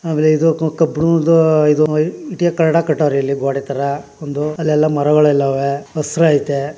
ಆಮೇಲೆ ಇದರ ಪಕ್ಕ ಬ್ಲೂ ದ್ದು ಇಟ್ಟಿಗೆ ಕಟ್ಟಡ ಕಟ್ಟಾರೆ ಇಲ್ಲಿ ಗೋಡೆ ತರಹ ಒಂದು ಅಲ್ಲೆಲ್ಲ ಮರಗಳೆಲ್ಲ ಅವೇ ಹಸೀರ್ ಐತೆ.